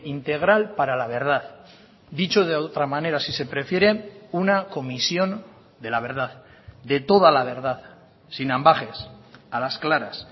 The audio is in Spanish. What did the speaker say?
integral para la verdad dicho de otra manera si se prefiere una comisión de la verdad de toda la verdad sin ambages a las claras